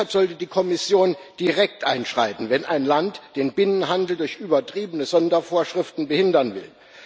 Deshalb sollte die Kommission direkt einschreiten, wenn ein Land den Binnenhandel durch übertriebene Sondervorschriften behindern will.